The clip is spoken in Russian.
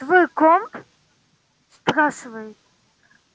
твой комп спрашивает